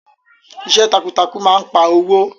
Iṣẹ́ takuntakun máa n pa owó.